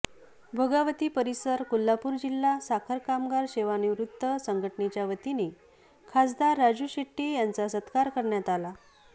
भोगावती परिसर कोल्हापूर जिल्हा साखर कामगार सेवानिवृत्त संघटनेच्यावतीने खासदार राजू शेट्टी यांचा सत्कार करण्यात आला